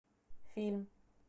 фильм